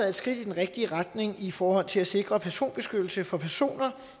et skridt i den rigtige retning i forhold til at sikre personbeskyttelse for personer